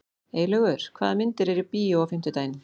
Eylaugur, hvaða myndir eru í bíó á fimmtudaginn?